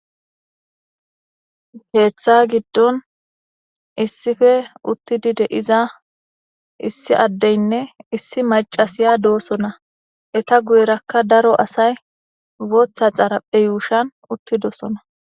Ketha gidon issipe utidi de'za issi adenne issi mac'asiya dosona eta guyeraka daro asay bota xaraphe yushuwan uthidosona.